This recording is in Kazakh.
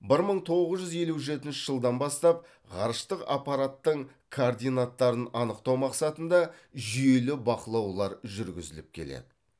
бір мың тоғыз жүз елу жетінші жылдан бастап ғарыштық аппараттың координаттарын анықтау мақсатында жүйелі бақылаулар жүргізіліп келеді